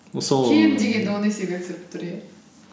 кем дегенде он есеге түсіріп тұр иә